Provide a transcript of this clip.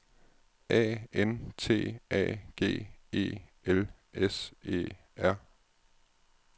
A N T A G E L S E R